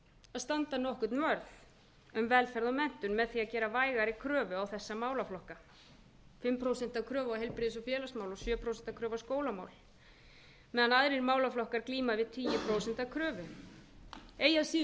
að standa nokkurn vörð um velferð og menntun með því að gera vægari kröfu á þessa málaflokka fimm prósent kröfu til heilbrigðis og félagsmála og sjö prósent kröfu á skólamál meðan lægri málaflokkar glíma við tíu prósent kröfu eigi að síður